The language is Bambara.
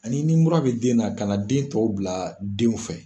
Ani nin mura bɛ den na, ka na den tɔw bila den fɛ.